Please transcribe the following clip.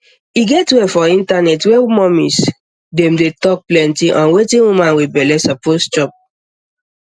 e get where for internet where mommies dem dey talk plenty on wetin woman wit belle suppose chop